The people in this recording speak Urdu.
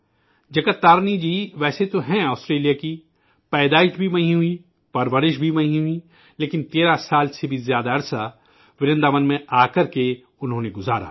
جگت تارینی جی ویسے تو ہیں آسٹریلیا کی، جنم بھی وہیں ہوا، پرورش بھی وہیں ہوئی، لیکن 13 سال سے بھی زیادہ کا عرصہ ورنداون میں آکر انہوں نے گزارا